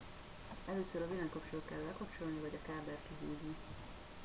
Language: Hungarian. először a villanykapcsolót kell lekapcsolni vagy a kábelt kihúzni